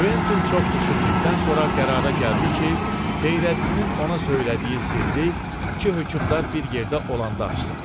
Kventin çox düşündükdən sonra qərara gəldi ki, Xeyrəddinin ona söylədiyi sirri iki hökmdar bir yerdə olanda açsın.